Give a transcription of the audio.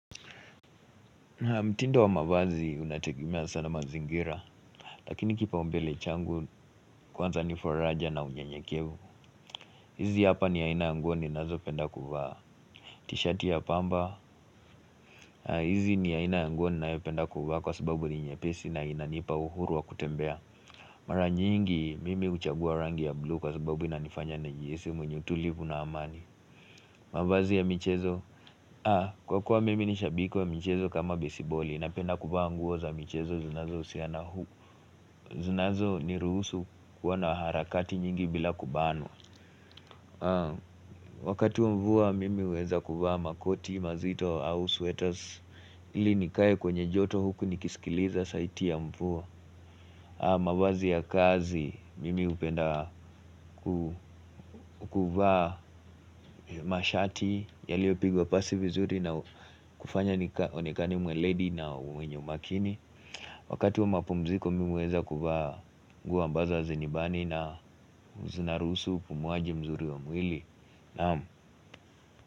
Mtindo wa mavazi unatekimea sana mazingira Lakini kipaumbele changu kwanza ni foraja na unyenyekevu hizi hapa ni aina nguo ni nazo penda kufaa t-shirt ya pamba hizi ni ya ina nguo ni na yu penda kufaa kwa sababu ni nyepesi na ina nipa uhuru wa kutembea Mara nyingi mimi uchagua rangi ya blue kwa sababu ina nifanya na jihisi mwenye utulipu na amani mavazi ya michezo Kwa kwa mimi nishabiko ya michezo kama besiboli Napenda kubawa nguo za michezo zunazo usiana huku zinazo ni ruhusu kuwa na harakati nyingi bila kubano Wakati wa mvua mimi uweza kubawa makoti, mazito, swetas ili nikaye kwenye joto huku nikisikiliza saiti ya mvua mavazi ya kazi mimi hupenda kukubawa mashati Yaliopigwa pasi vizuri na kufanya onekani mwe lady na uwenye umakini Wakati wa mapumziko mimi uweza kuvaa nguo ambazo hazinibani na uzunarusu kumuaji mzuri wa mwili Naamu.